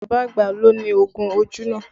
Bàbá àgbà ló ni oògùn ojú náà